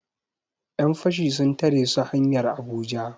Yan fashi sun tare su hanyar Abuja